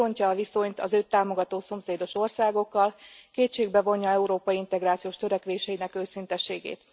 Megrontja a viszonyt az őt támogató szomszédos országokkal, kétségbe vonja Európa integrációs törekvéseinek őszinteségét.